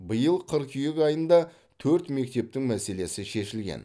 биыл қыркүйек айында төрт мектептің мәселесі шешілген